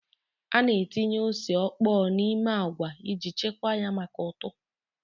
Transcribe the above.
A na-etinye ose ọkpọọ n'ime agwa iji chekwaa ya maka ụtụ.